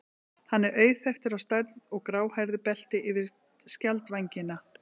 Hann er auðþekktur á stærð og gráhærðu belti yfir skjaldvængina.